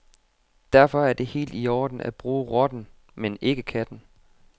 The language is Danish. Derfor er det helt i orden at bruge rotten, men ikke katten.